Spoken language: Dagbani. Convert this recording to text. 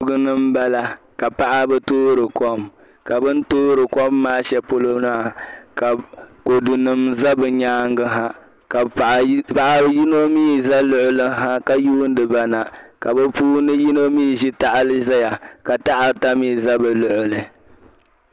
kuliga ni m-bala ka paɣa ba toori kom ka bɛn toori kom maa shɛli polo maa ka kɔdunima za bɛ nyaaŋa ha ka paɣ' yino mii za luɣili ha ka yuundi ba na ka bɛ puuni yino mii zi taɣili zaya ka taha ata mii za bɛ luɣili